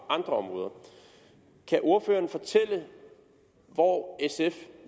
andre områder kan ordføreren fortælle hvor sf